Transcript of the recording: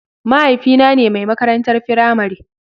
Mahaifina ne mai makarantar firamare.